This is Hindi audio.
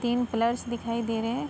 तीन पिलर्स दिखाई दे रहे हैं।